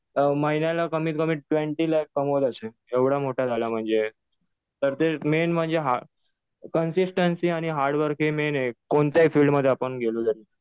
महिन्याला कमीत कमी ट्वेन्टी लाख कमवत असेल. एवढं मोठा झाला म्हणजे. तर ते मेन म्हणजे कन्सिस्टन्सी आणि हार्डवर्क हे मेन आहे. कोणत्याही फिल्ड मध्ये गेलो तरी.